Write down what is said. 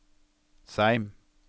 Seim